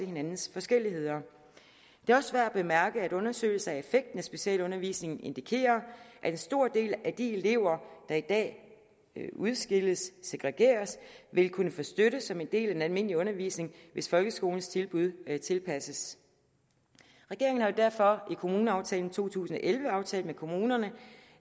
hinandens forskelligheder det også værd at bemærke at undersøgelser af effekten af specialundervisning indikerer at en stor del af de elever der i dag udskilles segregeres vil kunne få støtte som en del af den almindelige undervisning hvis folkeskolens tilbud tilpasses regeringen har derfor i kommuneaftalen to tusind og elleve aftalt med kommunerne